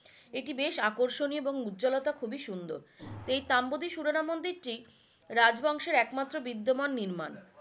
এটি বেশ আকর্ষণীয় এবং উজ্জ্বলতা খুবই সুন্দুর, এই তাম্বোদি সুরেলা মন্দিরটি রাজ বংশের একমাত্র বিদ্যমান নির্মাণ